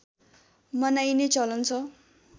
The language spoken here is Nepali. मनाइने चलन छ